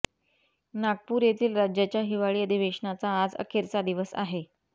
नागपूर येथील राज्याच्या हिवाळी अधिवेशनाचा आज अखेरचा दिवस आहे